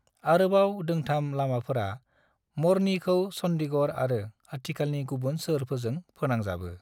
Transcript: आरोबाव दोंथाम लामाफोरा मरनीखौ चन्डीगढ़ आरो खाथिखालानि गुबुन सोहोरफोरजों फोनांजाबो।